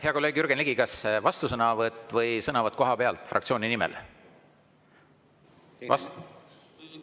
Hea kolleeg Jürgen Ligi, kas vastusõnavõtt või sõnavõtt kohapealt fraktsiooni nimel?